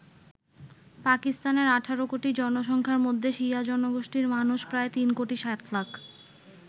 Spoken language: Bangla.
পাকিস্তানের ১৮ কোটি জনসংখ্যার মধ্যে শিয়া জনগোষ্ঠির মানুষ প্রায় ৩ কোটি ৬০ লাখ।